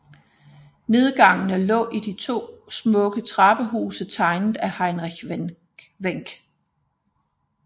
Nedgangene lå i to smukke trappehuse tegnet af Heinrich Wenck